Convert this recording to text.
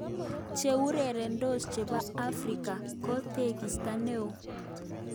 Cheureretos chepo afrika ,ko tekista neo."